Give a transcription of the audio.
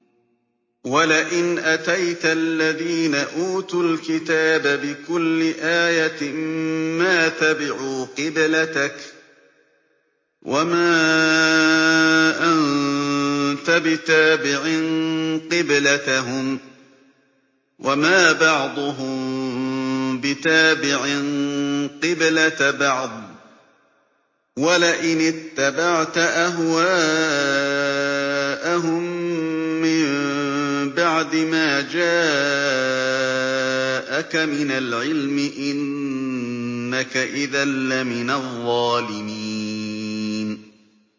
وَلَئِنْ أَتَيْتَ الَّذِينَ أُوتُوا الْكِتَابَ بِكُلِّ آيَةٍ مَّا تَبِعُوا قِبْلَتَكَ ۚ وَمَا أَنتَ بِتَابِعٍ قِبْلَتَهُمْ ۚ وَمَا بَعْضُهُم بِتَابِعٍ قِبْلَةَ بَعْضٍ ۚ وَلَئِنِ اتَّبَعْتَ أَهْوَاءَهُم مِّن بَعْدِ مَا جَاءَكَ مِنَ الْعِلْمِ ۙ إِنَّكَ إِذًا لَّمِنَ الظَّالِمِينَ